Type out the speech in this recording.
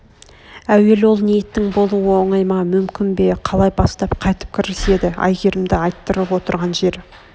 әуел ол ниеттің болуы оңай ма мүмкін бе қалай бастап қайтіп кіріседі әйгерімді айттырып отырған жер